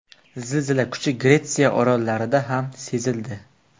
Zilzila kuchi Gretsiya orollarida ham sezildi.